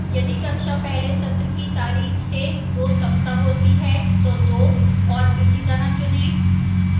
यदि कक्षा पहले सत्र की तारीख से 2 सप्ताह होती है तो 2 और इसी तरह चुनें